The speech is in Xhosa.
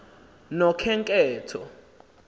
nokhenketho